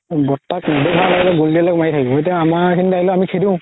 বৰতাক নেদেখালৈ গুলি মাৰি থাকে এতিয়া আমাৰ এইখিনিত আহিলে আমি খেদো